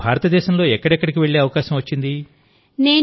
మీకు భారతదేశంలో ఎక్కడెక్కడికి వెళ్లే అవకాశం వచ్చింది